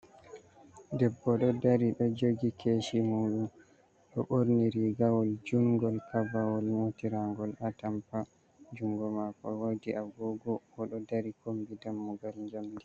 Debbo ɗo dari ɗo joogi keshi muɗum, ɗo ɓorni rigawol jungol kabawol nƴotira ngol atampa, jungo mako woodi agogo, oɗo dari kombi dammugal jamdi.